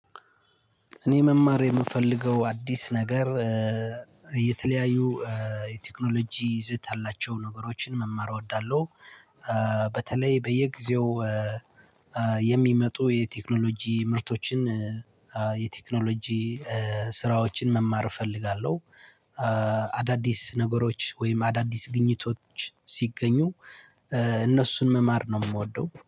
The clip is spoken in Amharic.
እኔ መማር የምፈልገው አዲስ ነገር የተለያዩ የቴክኖሎጂ ይዘት ያላቸውን ነገሮችን መማር እወዳለሁ። በተለይ በየጊዜው የሚመጡ የቴክኖሎጂ ምርቶችን የቴክኖሎጂ ስራዎችን መማር እፈልጋለሁ። አዳዲስ ነገሮች ወይም አዳዲስ ግኝቶች ሲገኙ እነሱን መማር ነው የምወደው